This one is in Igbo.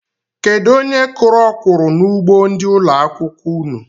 Kedụ onye kụrụ okwuru n'ugbo ndị ụlọ akwụkwọ unu?